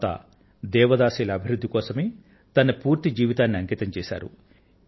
తరువాత దేవదాసిల అభివృద్ధి కోసమే తన పూర్తి జీవితాన్ని అంకితం చేశారు